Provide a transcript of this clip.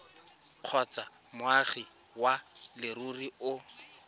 kgotsa moagi wa leruri o